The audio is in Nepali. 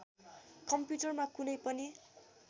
कम्प्युटरमा कुनै पनि